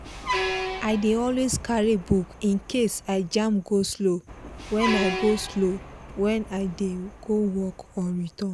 i dey always carry book in case i jam go-slow when i go-slow when i dey go work or return.